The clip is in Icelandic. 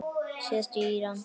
Síðast í Íran.